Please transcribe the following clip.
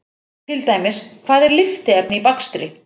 Til dæmis: Hvað er lyftiefni í bakstri?